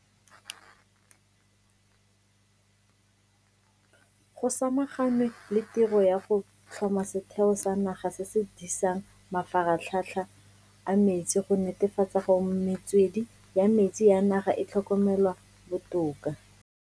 Go samaganwe le tiro ya go tlhoma Setheo sa Naga se se Disang Mafaratlhatlha a Metsi go netefatsa gore metswedi ya metsi ya naga e tlhokomelwa botoka.